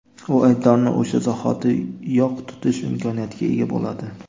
u aybdorni o‘sha zahoti yoq tutish imkoniyatiga ega bo‘ladi.